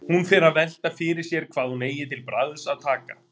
Hún fer að velta fyrir sér hvað hún eigi til bragðs að taka.